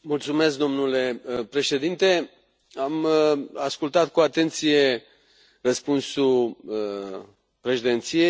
Domnule Președinte, am ascultat cu atenție răspunsul președinției.